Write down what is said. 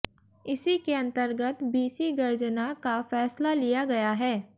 इसी के अंतर्गत बीसी गर्जना का फैसला लिया गया है